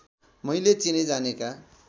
मैले चिनेजानेका